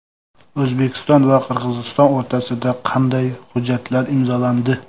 O‘zbekiston va Qirg‘iziston o‘rtasida qanday hujjatlar imzolandi?.